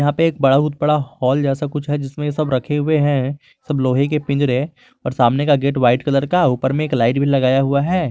एक बहुत बड़ा हॉल जैसा कुछ है जिसमें सब रखे हुए हैं सब लोहे के पिंजरे और सामने का गेट व्हाइट कलर का ऊपर में एक लाइट भी लगाया हुआ है।